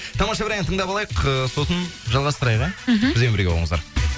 тамаша бір ән тындап алайық ыыы сосын жалғастырайық ия мхм бізбен бірге болыңыздар